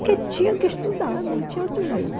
Porque tinha que estudar, não tinha outro jeito.